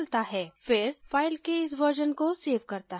फिर file के इस version को सेव करता है